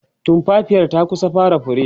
tumfafiyar ta kusa fara fure